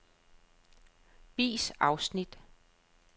Vis afsnit.